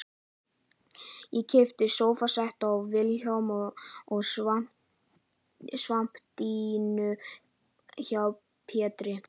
Ég keypti sófasett af Vilhjálmi og svampdýnu hjá Pétri